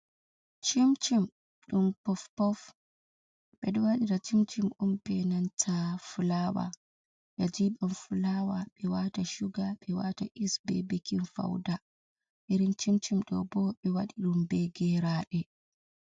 Cim-cim ɗum pof-pof. Ɓeɗo waɗira cim-cim on be nanta fulawa ɓe jiɓan fulawa ɓe wata suga be wata yis be bekin fauda. Irin cim-cim ɗobo ɓe waɗi ɗum be geraɗe.